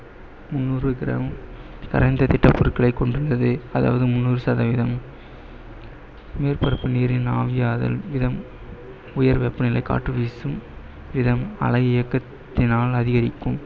முன்னூறு gram பொருட்களை கொண்டுள்ளது அதாவது முன்னூறு சதவிகிதம் மேற்பரப்பு நீரின் ஆவியாதல் உயர்வெப்பநிலை காற்று வீசும் அலை இயக்கத்தினால் அதிகரிக்கும்.